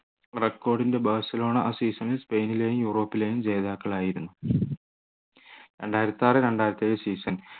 record ൻ്റെ Barcelona ആ season ൽ സ്പെയിനിലെ യൂറോപ്പിലെയും ജേതാക്കൾ ആയിരുന്നു രണ്ടായിരത്തിയാറ്‌ രണ്ടായിരത്തിയേഴ് season